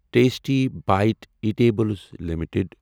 tasty Bite Eatables limited